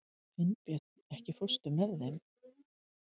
Finnbjörn, ekki fórstu með þeim?